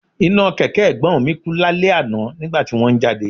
Iná kẹ̀kẹ́ Ẹ̀gbọ́n mi kú lálẹ́ àná nígbà tí wón ń jáde